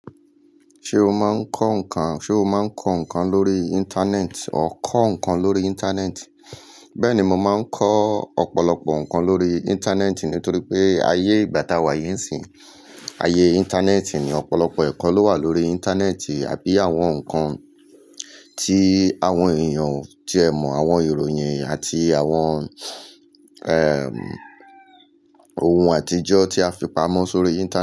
Ṣé o máa ń kọ́ nǹkan, ṣe o máa ń kọ́ nǹkan lórí Íńtánẹ́ẹ̀tì, ọ kọ́ nǹkan lórí Íńtánẹ́ẹ̀tì? Bẹ́ẹ̀ni, mo máa ń kọ́ ọ̀pọ̀lọpọ̀ nǹkan lórí Íńtánẹ́ẹ̀tì nítorí pé ayé ìgbà tá a wà yìí n ṣìń, ayé Íńtánẹ́ẹ̀tì ni, ọ̀pọ̀lọpọ̀ ẹ̀kọ́ ló wà lórí Íńtánẹ́ẹ̀tì àbí àwọn nǹkan tí àwọn èèyàn ti ẹ mọ̀, àwọn ìròyìn àti àwọn, ẹm, ohun àtijọ́ tí a fi pamọ́ sórí Íńtánẹ́ẹ̀tì.